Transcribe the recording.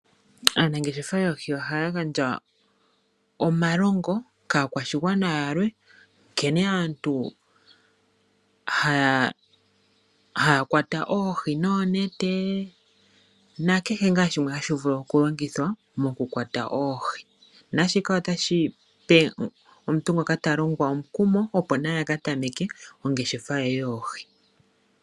Aanangeshefa yoohi ohaya gandja omalongo kaakwashigwana yalwe nkene aantu haya kwata oohi noonete, nakehe ngaa shimwe hashi vulu oku longithwa oku kwata oohi, naashika otashi pe omuntu ngoka ta longwa omukumo opo naye a ka tameke ongeshefa ye yoohi.